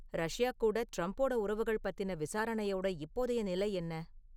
Russia கூட டிரம்போட உறவுகள் பத்தின விசாரணையோட இப்போதைய நிலை என்ன?